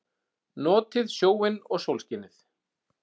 Notið sjóinn og sólskinið!